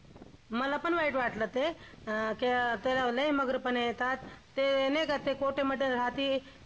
मलापण वाईट वाटलं ते अं त्याला लई मग्रीपणा येतात ते नाही का ते कोठ्यामध्ये राहती तिथेच सर्वमंगल मांगल्ये शिवे सर्वार्थ साधिके शरण्य त्र्यंबके गौरी नारायणी नमोस्तुते